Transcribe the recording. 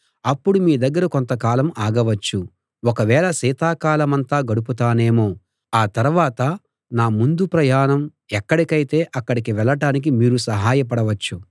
అప్పుడు మీ దగ్గర కొంతకాలం ఆగవచ్చు ఒక వేళ శీతకాలమంతా గడుపుతానేమో ఆ తర్వాత నా ముందు ప్రయాణం ఎక్కడికైతే అక్కడికి వెళ్ళటానికి మీరు సహాయపడవచ్చు